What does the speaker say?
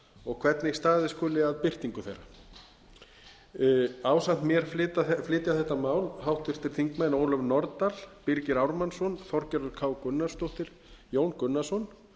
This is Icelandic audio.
og hvernig staðið skuli að birtingu þeirra ásamt mér flytja þetta mál háttvirts þingmanns ólöf nordal birgir ármannsson þorgerður k gunnarsdóttir jón gunnarsson